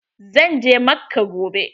Zan je Makka gobe.